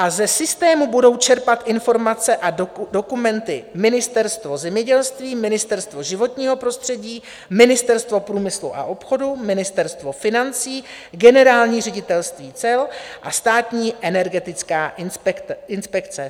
A ze systému budou čerpat informace a dokumenty Ministerstvo zemědělství, Ministerstvo životního prostředí, Ministerstvo průmyslu a obchodu, Ministerstvo financí, Generální ředitelství cel a Státní energetická inspekce.